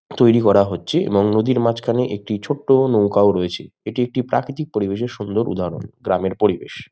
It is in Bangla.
তৈরি করা হচ্ছে এবং নদীর মাঝখানে একটি ছোট্ট নৌকাও রয়েছে এটি একটি প্রাকৃতিক পরিবেশের সুন্দর উদাহরণ গ্রামের পরিবেশ।